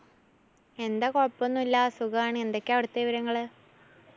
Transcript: എന്താ കൊഴപ്പൊന്നൂല്ലാ സുഖവാണ്. എന്തൊക്കെയാ അവിടുത്തെ വിവരങ്ങള്?